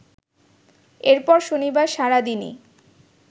এরপর শনিবার সারাদিনই